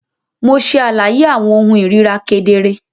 Mo ṣe àlàyé awọn ohùn irira kedere.